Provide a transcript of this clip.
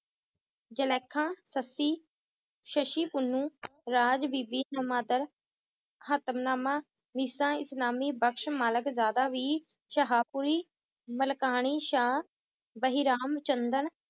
ਜੁਲੇਖਾਂ ਸੱਸੀ, ਸਸ਼ੀ ਪੁਨੂੰ ਰਾਜਬੀਬੀ ਇਸਲਾਮੀ ਵੀ ਸ਼ਾਹਪੁਰੀ, ਮਲਕਾਨੀਸ਼ਾਹ, ਬਹਿਰਾਮ ਚੰਦਨ